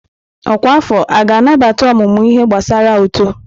Ọkwa afọ a ga-anabata ọmụmụ ihe gbasara uto?